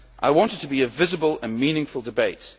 I want it to be a visible and meaningful debate.